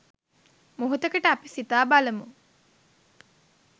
මොහොතකට අපි සිතා බලමු.